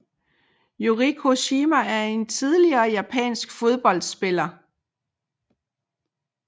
Yuriko Shima er en tidligere japansk fodboldspiller